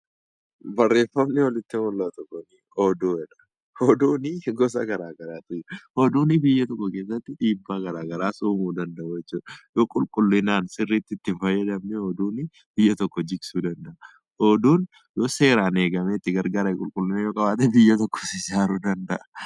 Barreeffamni olitti mul'atu kun xiqqoo oduudha. Oduun gosa garaagaraatu jiru. Oduun biyya tokko keessatti dhiibbaa garaagaraa uumuu danda'u jechuudha. Oduun yoo qulqulliinaan itti hin fayyadamne oduun Kun biyya tokko jigsuu danda'a. Oduun yoo seeraan eegamee qulqulliina qabaate, biyya tokko ijaaruus danda'a.